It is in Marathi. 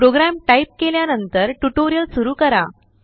प्रोग्राम टाईप केल्यानंतरटुटोरिअल सुरु करा